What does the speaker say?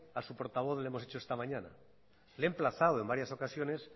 a su portavoz le hemos hecho esta mañana le he emplazado en varias ocasiones